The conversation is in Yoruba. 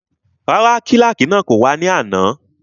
Rárá, kílàkì náà kò wá ní àná